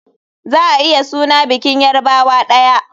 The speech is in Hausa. Za a iya suna bikin yarbawa daya.